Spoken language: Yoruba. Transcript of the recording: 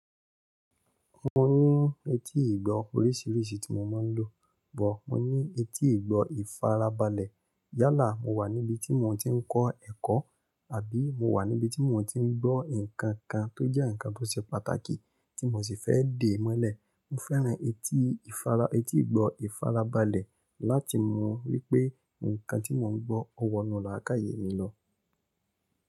Mo ní etí ìgbọ́ oríṣiríṣi tí mo máa ń lò. But, mo ní etí ìgbọ́ ìfarabalẹ̀. Yálà mo wà níbi tí mò ń tí ń kọ́ ẹ̀kọ́ àbí mo wà níbi tí mò ń tí ń gbọ́ nǹkan kan tó jẹ́ nǹkan tó ṣe pàtàkì tí mò sì fẹ́ dè mọ́lẹ̀. Mo fẹ́ran etí ìfará, etí ìgbọ́ ìfarabalẹ̀ láti mọ wípé ǹkan tí mò ń gbọ́ o wọnú làákàyè mi lọ.